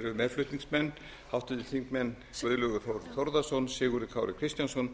eru meðflutningsmenn háttvirtir þingmenn guðlaugur þór þórðarson sigurður kári kristjánsson